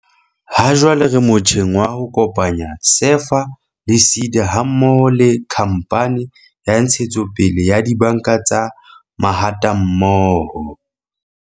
"Hajwale re motjheng wa ho kopanya SEFA le SEDA ha mmoho le Khamphane ya Ntshetsopele ya Dibanka tsa Mahatammoho."